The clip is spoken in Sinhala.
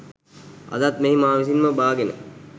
අදත් මෙහි මා විසින්ම බාගෙන